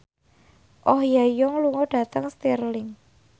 Oh Ha Young lunga dhateng Stirling